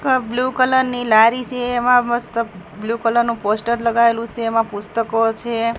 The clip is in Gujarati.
આ બ્લુ કલર ની લારી છે એમાં મસ્ત બ્લુ કલર નુ પોસ્ટર લગાવેલુ સે એમા પુસ્તકો છે.